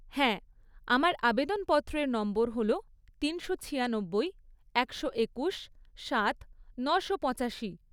হ্যাঁ, আমার আবেদনপত্রের নম্বর হল তিনশো ছিয়ানব্বই, একশো একুশ, সাত, নশো পঁচাশি।